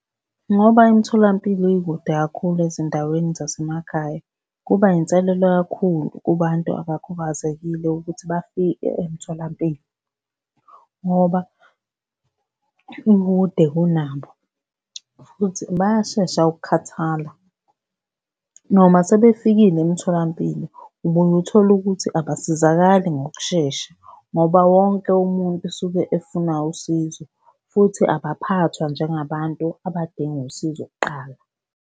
Ngoba imitholampilo ikude kakhulu ezindaweni zasemakhaya, kuba yinselelo kakhulu kubantu abakhubazekile ukuthi bafike emtholampilo ngoba ikude kunabo, futhi bayashesha ukukhathala noma sebefikile emtholampilo, ubuye uthole ukuthi abasizakali ngokushesha, ngoba wonke umuntu usuke efuna usizo futhi abaphathwa njengabantu abadinga usizo kuqala.